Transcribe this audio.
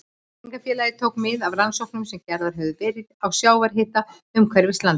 Tryggingafélagið tók mið af rannsóknum sem gerðar höfðu verið á sjávarhita umhverfis landið.